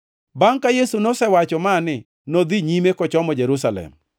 Bangʼ ka Yesu nosewacho mani, nodhi nyime, kochomo Jerusalem.